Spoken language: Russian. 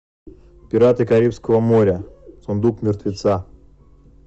пираты карибского моря сундук мертвеца